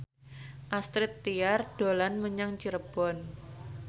Astrid Tiar dolan menyang Cirebon